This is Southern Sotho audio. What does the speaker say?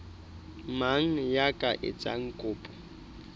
mang ya ka etsang kopo